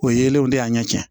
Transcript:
O yelenw de y'a ɲɛ cɛ